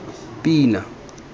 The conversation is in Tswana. pina